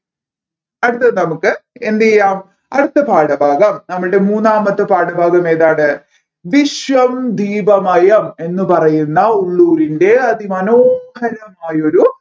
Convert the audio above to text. അടുത്തത് നമ്മുക്ക് എന്ത് ചെയ്യാം അടുത്ത പാഠഭാഗം നമ്മളുടെ മൂന്നാമത്തെ പാഠഭാഗം ഏതാണ് വിശ്വം ദീപമയം എന്ന് പറയുന്ന ഉള്ളൂരിൻറെ അതിമനോഹരമായൊരു